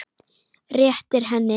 Réttir henni.